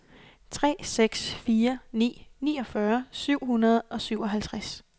tre seks fire ni niogfyrre syv hundrede og syvoghalvtreds